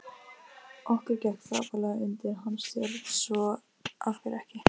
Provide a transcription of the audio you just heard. Okkur gekk frábærlega undir hans stjórn svo af hverju ekki?